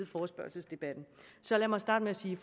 forespørgselsdebatten så lad mig starte med at sige